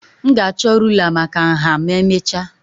M ga-achọ rụlà maka nha ma emechaa